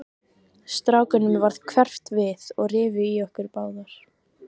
Strákunum varð hverft við og rifu í okkur báðar.